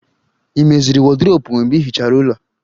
Ị meziri wọdrobu mgbe ịhichara ulọ